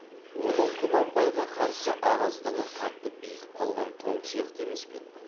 оның құнанбайға қарсы араздығы қатты бекіп қалған тоң сияқты емес пе еді